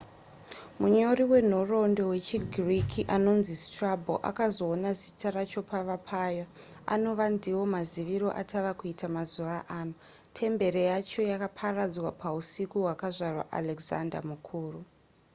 munyori wenhoroondo wechigiriki anonzi strabo akazoona zita racho pava paya anova ndivo maziviro atava kuita mazuva ano temberi yacho yakaparadzwa pausiku hwakazvarwa alexander mukuru